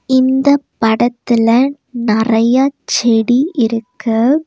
இந்தப் படத்துல நறையா செடி இருக்கு.